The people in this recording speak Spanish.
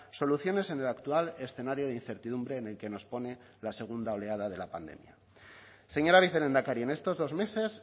soluciones en el actual escenario de incertidumbre en el que nos pone la segunda oleada de la pandemia señora vicelehendakari en estos dos meses